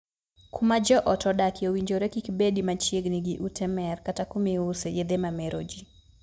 Kuma joot odakie owinjore kik bedi machiegni gi ute mer kata kumiuse yedhe ma mero jii.